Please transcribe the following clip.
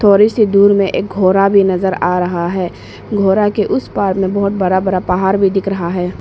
थोड़ी सी दूर में एक घोड़ा भी नजर आ रहा है घोड़ा के उसे पार में बहुत बड़ा बड़ा पहाड़ भी दिख रहा है।